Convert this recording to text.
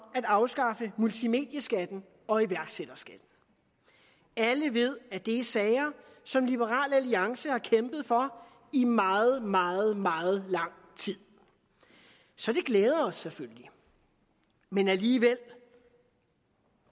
at afskaffe multimedieskatten og iværksætterskatten alle ved at det er sager som liberal alliance har kæmpet for i meget meget meget lang tid så det glæder os selvfølgelig men alligevel